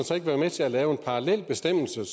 så ikke være med til at lave en bestemmelse der